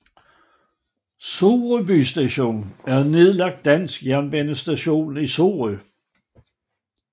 Sorø Bystation er en nedlagt dansk jernbanestation i Sorø